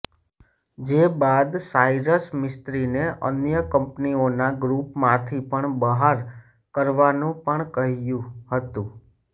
જે બાદ સાયરસ મિસ્ત્રીને અન્ય કંપનીઓના ગ્રૂપમાંથી પણ બહાર કરવાનું પણ કહ્યું હતું